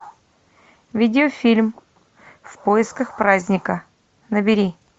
видеофильм в поисках праздника набери